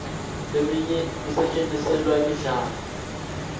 leminye isetjentiselwa imidlalo